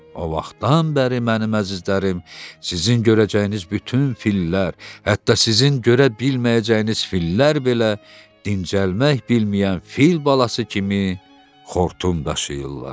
O vaxtdan bəri, mənim əzizlərim, sizin görəcəyiniz bütün fillər, hətta sizin görə bilməyəcəyiniz fillər belə dincəlmək bilməyən fil balası kimi xortum daşıyırlar.